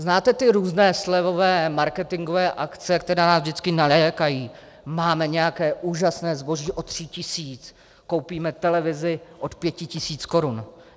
Znáte ty různé slevové marketingové akce, které nás vždycky nalákají - máme nějaké úžasné zboží od tří tisíc, koupíme televizi od pěti tisíc korun.